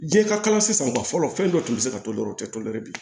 Jiɲɛ ka kala sisan fɔlɔ fɛn dɔ tun bɛ se ka to dɔrɔn o tɛ tolɛri bi